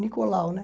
Nicolau, né?